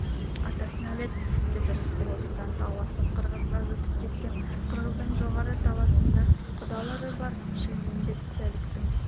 атасына нәлет деді рысқұл осыдан тау асып қырғызға өтіп кетсем қырғыздың жоғары таласында құдалары бар шілмембет-сәліктің